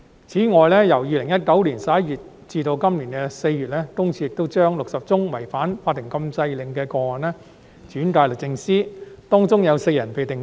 此外，由2019年11月至今年4月，私隱公署亦將60宗違反法庭禁制令的"起底"個案轉介予律政司，當中有4人被定罪。